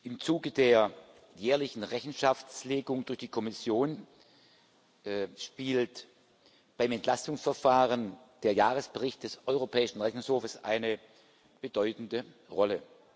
Im Zuge der jährlichen Rechenschaftslegung durch die Kommission spielt beim Entlastungsverfahren der Jahresbericht des Europäischen Rechnungshofs eine bedeutende Rolle.